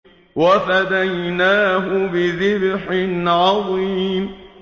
وَفَدَيْنَاهُ بِذِبْحٍ عَظِيمٍ